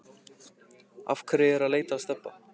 Af hverju ertu að leita að Stebba